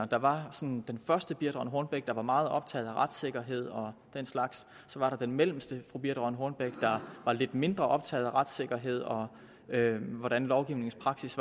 der var sådan den første fru birthe rønn hornbech der var meget optaget af retssikkerhed og den slags så var der den mellemste fru birthe rønn hornbech der var lidt mindre optaget af retssikkerhed og hvordan lovgivningens praksis